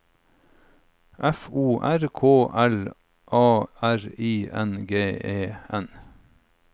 F O R K L A R I N G E N